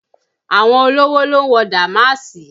Àwọn olówò ló ń wọ dàmáàsì